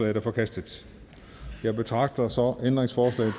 en er forkastet jeg betragter så ændringsforslag